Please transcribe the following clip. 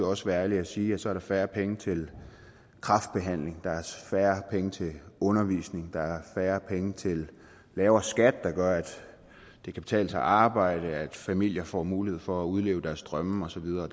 også være ærlige og sige at så er der færre penge til kræftbehandling der er færre penge til undervisning der er færre penge til en lavere skat der gør at det kan betale sig at arbejde at familier får mulighed for at udleve deres drømme og så videre